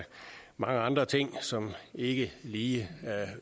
mange andre ting som ikke lige